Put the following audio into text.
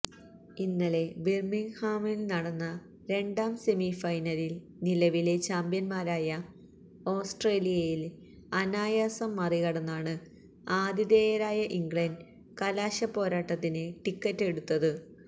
ഇന്നലെ ബിര്മിങ്ഹാമില് നടന്ന രണ്ടാം സെമിഫൈനലില് നിലവിലെ ചാമ്പ്യന്മാരായ ഓസ്ട്രേലിയയെ അനായാസം മറികടന്നാണ് ആതിഥേയരായ ഇംഗ്ലണ്ട് കലാശപ്പോരാട്ടത്തിന് ടിക്കറ്റ് എടുത്തത്